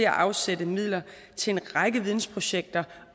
at afsætte midler til en række vidensprojekter